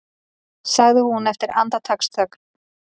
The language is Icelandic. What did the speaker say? sagði hún eftir andartaksþögn.